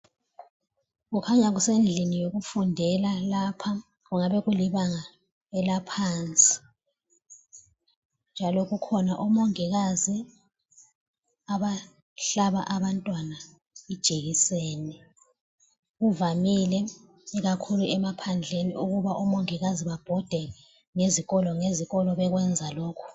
Kukhanya kusendlini yokufundela lapha, kungaba kulibanga elaphansi njalo kukhona omongikazi abahlaba Abantwana ijekiseni, kuvamile ikakhulu emaphandleni ukuthi omongikazi babhode ngezikolo ngezikolo bekwenza lokho